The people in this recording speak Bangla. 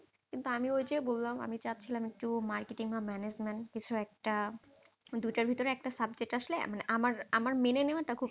কিন্তু আমি ওই যে, বললাম আমি চাচ্ছিলাম একটু marketing বা management কিছু একটা, দুটোর ভিতরে একটা subject আসলে আমার আমার মেনে নেওয়াটা খুবই